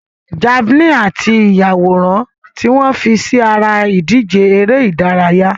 Javelin àti ìyàwòrán tí wọ́n fi sí ara ìdíje eré ìdárayá.